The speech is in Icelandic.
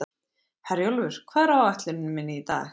Herjólfur, hvað er á áætluninni minni í dag?